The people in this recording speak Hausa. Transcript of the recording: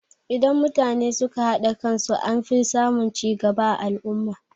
Idan mutane suka haɗa kan su anfi samun cigaba a al'umma.